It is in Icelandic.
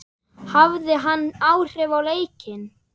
Hafði hann áhrif á leikinn?